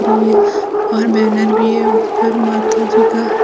और बैनर भी है ऊपर माताजी का।